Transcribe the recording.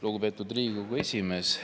Lugupeetud Riigikogu esimees!